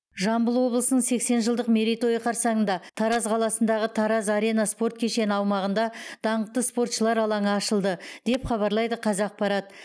жамбыл облысының сексен жылдық мерейтойы қарсаңында тараз қаласындағы тараз арена спорт кешені аумағында даңқты спортшылар алаңы ашылды деп хабарлайды қазақпарат